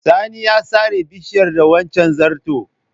Sani ya sare bishiyar da wancen zarton.